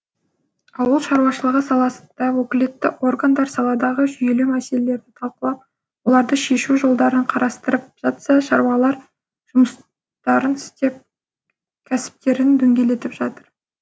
ауыл шаруашылығы саласында өкілетті органдар саладағы жүйелі мәселелерді талқылап оларды шешу жолдарын қарастырып жатса шаруалар жұмыстарын істеп кәсіптерін дөңгелетіп жатыр